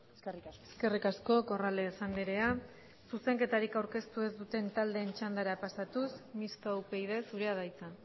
eskerrik asko eskerrik asko corrales andrea zuzenketarik aurkeztu ez duten taldeen txandara pasatuz mistoa upyd zurea da hitza